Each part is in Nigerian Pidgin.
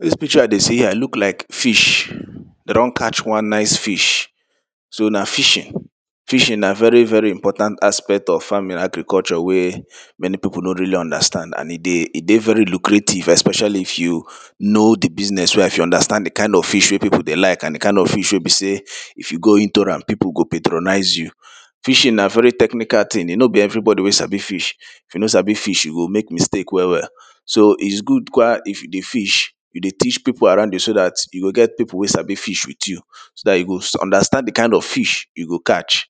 Dis picture I dey see here look like fish. De don one nice fish, so na fishing. Fishing na very very important aspect of farming in agriculture wey many pipo no really understand and e dey, e dey very lucrative especially if you know di business well, if you understand di kind of fish wey pipo dey like and di kind of fish wey be sey if you go into am pipo go patronize you. fishing na very technical thing, e no be everybody wey sabi fish. If you no sabi fish, you go mek mistake well well, so is good um if di fish, you dey teach pipu around you, so dat you go get pipu wey sabi fish with you. so dat, you go understand di kind of fish you go catch.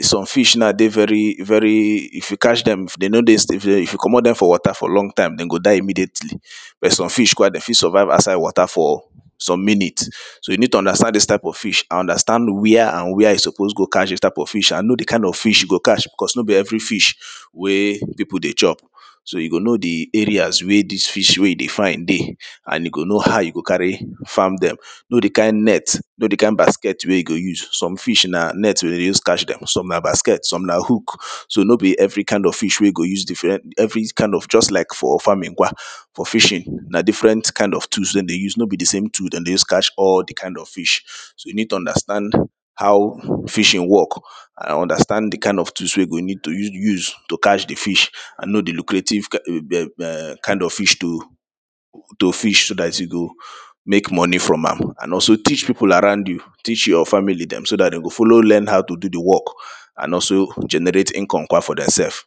Some fish na, dey very very, if you catch dem dey no dey, if you comot dem from water for long time de go die immediately, but some fish, de fit survive outside water for some minute, so you need to understand dis type of fish and understand where and where you suppose go catch dis type of fish and know di type of fish you go catch because no be every fish wey pipo dey chop, so you go know di areas wey dis fish wey e dey find dey and you go know how you go carry farm dem, know di kind net, know di kind basket wey you go use, some fish na net de dey use catch dem, some na basket, some na hook. So no be every kind of fish wey you go use, every kind of just like for farming um, for fishing na differen kind of tools de dey use, no be the same tool de dey use catch all di kind of fish. So you need to understand how, fishing work and understand di kind of tools wey you go need to use to catch di fish and know di lucrative, um, kind of fish to fish, so dat you mek money from am and also teach pipu around you, teach your family dem, so dat de go follow learn how to do di work and also generate income um for dem sef.